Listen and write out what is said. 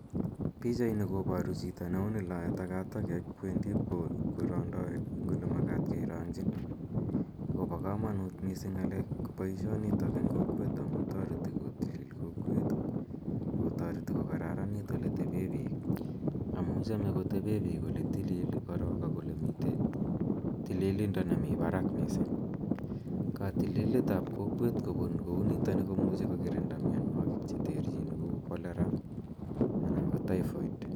Pichaini koparu chito ne uni lae takataket kowendi ipkorang'dai eng' ole makat kerang'chin. Akopa kamanut missing' poishonitok eng' kokwet amuntareti kotilil kokwet ak kotareti kokararanit ole tepe pik anu chame kotepe pik ole tilil korok ak ole mitei tililindo nepo parak missing'. Katililet ap kokwet kopun kou nitani ko muchi ko kirinda mianwogik che terchin kou Cholera anan ko Typhoid.